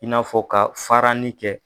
I n'a fɔ ka faranin kɛ